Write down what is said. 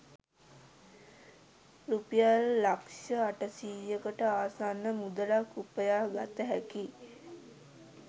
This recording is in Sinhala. රුපියල් ලක්ෂ අටසීයකට ආසන්න මුදලක් උපයා ගත හැකි